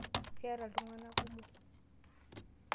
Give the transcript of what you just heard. Keeta iltung'anak kumok.